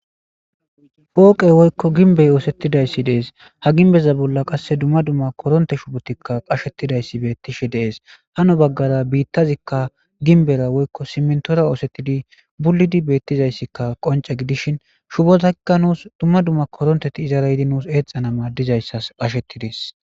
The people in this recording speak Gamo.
Pooqey woykko ginbey oosettidayssi dees ha ginbeza bolla qasse dumma dumma koronte shubotikka qashettidayssi beettishe dees hano baggara biittazikka ginbera woykko simntora oosettidi bullidi beettizayssikka qonce gidishin shubozakka nuus dumma dumma koronteti izaraydi nuus eexxana maadizayssas qashettides.